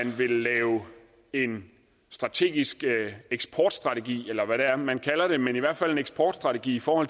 vil lave en strategisk eksportstrategi eller hvad det er man kalder det men i hvert fald en eksportstrategi for